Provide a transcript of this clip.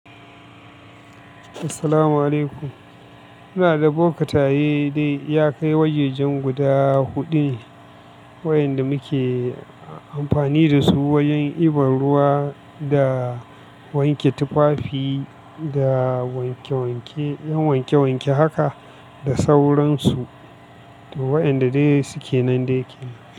Assalamu'alaikum. Muna da boka taye dai ya kai wajajen guda huɗu, wa'yanda muke amfani da su wajen ibar ruwa da wanke tufafi da wanke-wanke, yan wanke-wanke haka da sauransu. To wa'yanda dai suke nan dai kenan.